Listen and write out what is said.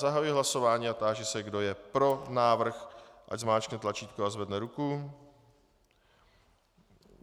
Zahajuji hlasování a táži se, kdo je pro návrh, ať zmáčkne tlačítko a zvedne ruku.